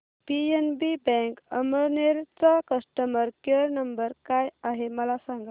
PNB bank Amalner चा customer care number काय आहे मला सांगा